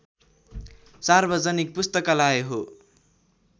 सार्वजनिक पुस्तकालय हो